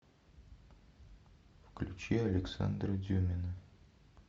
включи александра дюмина